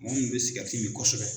Minnu bɛ sikɛriti min kosɛbɛ.